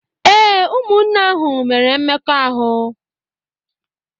Ee, ụmụnne ahụ mere mmekọahụ.